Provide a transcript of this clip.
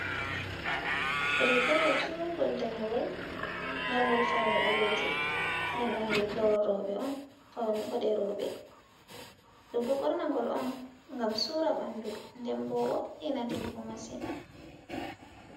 Rigawol jungol danewol marngol fauni baleje den dum rigawol robe on fauni bode robe dum do bornagol on gam sura bandu dembo wo'ina debbo masin.